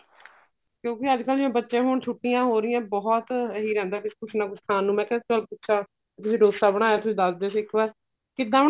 ਕਿਉਂਕਿ ਅੱਜਕਲ ਜਿਵੇਂ ਬੱਚੇ ਹੁਣ ਛੁੱਟੀਆਂ ਹੋ ਰਹੀਆਂ ਨੇ ਬਹੁਤ ਇਹੀ ਰਹਿੰਦਾ ਕੁੱਛ ਨਾ ਕੁੱਛ ਖਾਣ ਨੂੰ ਮੈਂ ਕਿਹਾ ਚੱਲ ਪੁੱਛਾਂ dosa ਬਣਾਇਆ ਦੱਸ ਦੋ ਇੱਕ ਵਾਰ ਕਿੱਦਾਂ